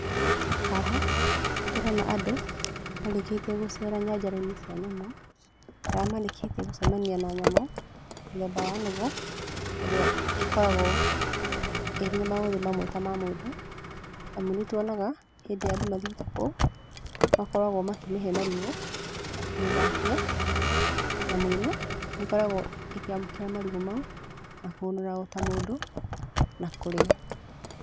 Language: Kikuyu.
Haha tũrona andũ marĩkĩtiĩ gũcera nyanjarainĩ cia nyamũ harĩa marĩkĩtiĩ gũcemania na nyamũ mũthemba wa nũgũ ĩrĩa ĩkoragwo na maũthĩ ta mũndũ. Amũ nĩ twonaga andũ mathiĩte kũu nĩ makoragwo makĩmahe marigũ na kũmĩthakia, nyamũ ĩno nĩ ĩkoragwo ĩkĩamũkĩra marigũ mau na kũhũra ta mũndũ na kũrĩa